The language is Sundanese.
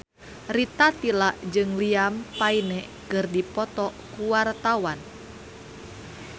Rita Tila jeung Liam Payne keur dipoto ku wartawan